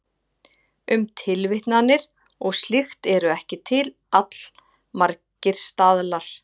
Um tilvitnanir og slíkt eru til allmargir staðlar.